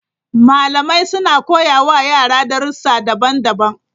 Malamai suna koya wa yara darussa daban-daban.